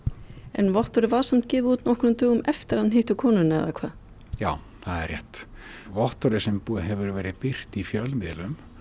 en vottorðið var samt gefið út nokkrum dögum eftir að hann hitti konuna eða hvað já það er rétt vottorðið sem hefur verið birt í fjölmiðlum